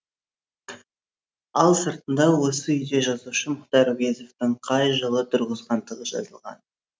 ал сыртында осы үйде жазушы мұхтар әуезовтің қай жылы тұрғызғандығы жазылған